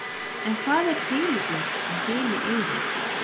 en hvað er þiliút og þilieyrir